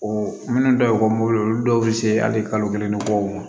O minnu dɔ ye olu dɔw be se hali kalo kelen ni kɔ ma